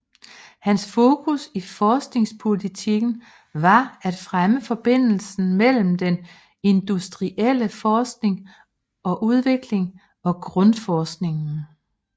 Hans fokus i forskningspolitikken var at fremme forbindelsen mellem den industrielle forskning og udvikling og grundforskningen